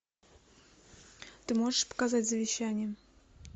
ты можешь показать завещание